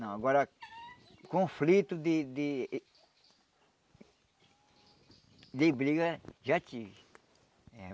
Não, agora conflito de de de briga já tive.